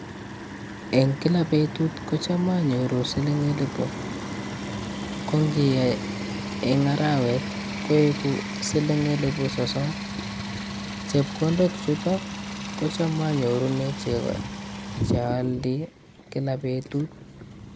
Eng kila betut ko cham anyoru siling eliput, ko ngiyai eng arawet koeku siling elepu sosom, chepkondok chutok kocham anyorune chego che aldei kila betut.